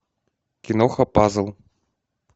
киноха пазл